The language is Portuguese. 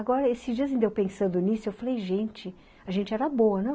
Agora, esses dias em que eu pensando nisso, ''eu falei, gente, a gente era boa, não?''